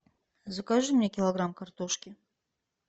закажи мне килограмм картошки